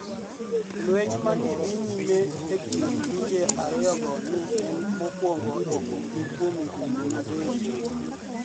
Lweniy ma ni e dhi niyime e kinid pinije ariyogo ni e eni mokwonigo e kinidgi kuom higinii adek.